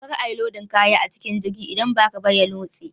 Kar a yi lodin kaya a cikin jirgin idan ba haka ba ya nutse.